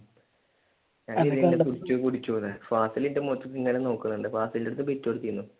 ഫാസിൽ എൻ്റെ മുഖത്തേക്ക് ഇങ്ങനെ നോക്കുന്നുണ്ട് ഫാസിലിൻ്റെ അടുത്ത് ബിറ്റ് കൊടുത്തിരുന്നു.